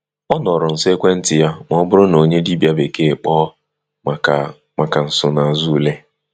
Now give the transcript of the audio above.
Ọ nọrọ nso ekwentị ya ma ọ bụrụ na onye dibịa bekee kpọọ maka maka nsonaazụ ule.